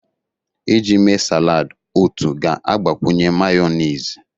Iji mee salad otu ga-agbakwunye mayonezi.